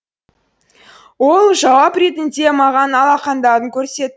ол жауап ретінде маған алақандарын көрсетті